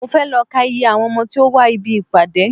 Mo fẹ́ lọ ká iye àwọn ọmọ tí ó wá ibi ìpàdé.